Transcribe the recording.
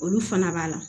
Olu fana b'a la